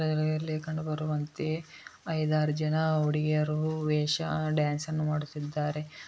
ಇಲ್ಲಿ ಕಂಡು ಬರುವಂತೆ ಐದು ಆರು ಜನ ಹುಡುಗಿಯರು ವೇಷ ಡ್ಯಾನ್ಸ್ ಅನ್ನು ಮಾಡುತ್ತಿದ್ದಾರೆ.